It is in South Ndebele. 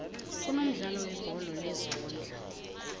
kunomdlalo webholo lezondla